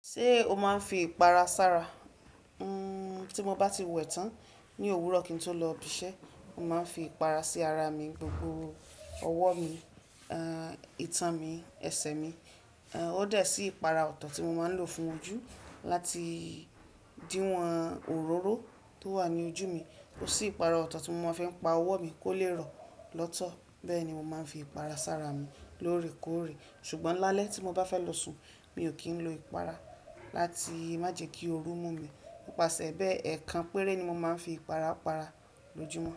Ṣé o máa ń fi ìpara sára? Uum ti mo bá ti wẹ̀ tán ní òwúrọ̀ kín tó lọ ibiṣẹ́, mo máa ń fi ìpara sí ara mi, gbogbo ọwọ́ mi, aa ìtàn mi, ẹsẹ̀ mi. Aa ó dà sí ìpara ọ̀tọ̀ tí mo máa ń lò fún ojú láti díwọ̀n òróró tó wà ní ojú mi. Ó sì ìpara ọ̀tọ̀ tí mo máa ń fẹ́ pa ọwọ́ mi kó lè rọ̀ lọ́tọ̀. Bẹ́ẹ̀ ni mo máa ń fi ìpara sára mi lóòrèkóòrè. Ṣùgbọ́n lálẹ́ tí mo bá fẹ́ lọ sùn, mi ò kì í lo ìpara láti má jẹ kí ooru mú mi. Pípàsẹ bẹ́ẹ̀, ẹ̀ẹ̀kan péré ni mo máa ń fi ìpara para lójú mọ́.